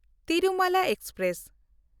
Tirumala express